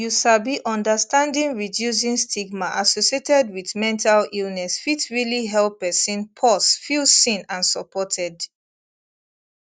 you sabi understanding reducing stigma associated wit mental illness fit realli help pesin pause feel seen and supported